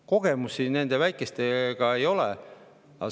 Kogemusi nende väikeste ei ole.